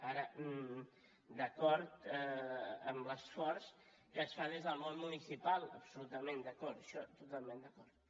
ara d’acord amb l’esforç que es fa des del món municipal absolutament d’acord en això totalment d’acord